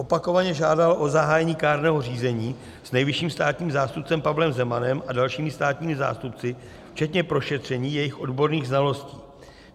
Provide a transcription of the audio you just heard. Opakovaně žádala o zahájení kárného řízení s nejvyšším státním zástupcem Pavlem Zemanem a dalšími státními zástupci včetně prošetření jejich odborných znalostí.